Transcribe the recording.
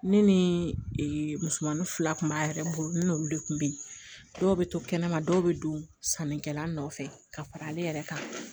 Ne ni musomannin fila tun b'a yɛrɛ bolo ni n'olu de kun be yen dɔw be to kɛnɛma dɔw be don sannikɛla nɔfɛ ka fara ale yɛrɛ kan